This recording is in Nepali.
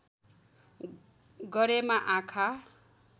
गरेमा आँखा